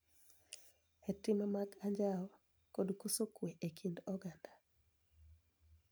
E tim mag anjao kod koso kwe e kind oganda .